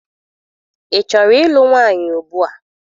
Ị chọrọ ịlụ nwaanyị ugbua?